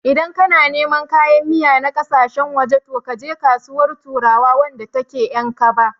Idan kana neman kayan miya na ƙasashen waje, to kaje Kasuwar turawa wadda take a Ƴankaba.